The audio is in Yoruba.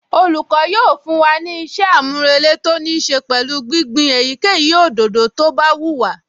Olùkọ́ yóò fún wa ní ìṣe-àmúrelé tó níí ṣe pẹ̀lú gbígbin èyíkéyìí òdòdó tó bá wù wá